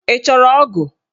Ị chọrọ ogu?